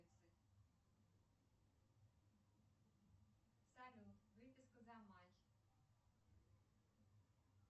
салют выписка за май